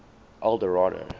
eldorado